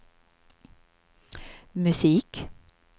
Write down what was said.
musik